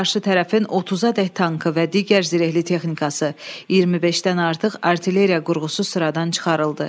Qarşı tərəfin 30-adək tankı və digər zirehli texnikası, 25-dən artıq artilleriya qurğusu sıradan çıxarıldı.